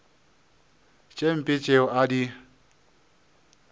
tše mpe tšeo a di